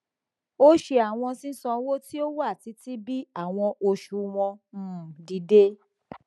o ṣe awọn sisanwo ti o wa titi bi awọn oṣuwọn um dide